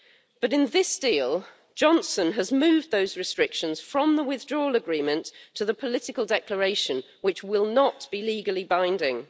But in this deal, Johnson has moved those restrictions from the Withdrawal Agreement to the Political Declaration, which will not be legally binding.